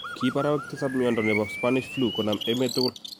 Kiip arawek tisap miondo nebo spanish flu konam emet tugul